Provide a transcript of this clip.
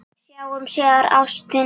Sjáumst síðar, ástin mín.